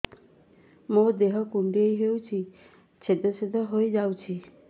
ମୋ ଦେହ କୁଣ୍ଡେଇ ହେଇ ଛେଦ ଛେଦ ହେଇ ଯାଉଛି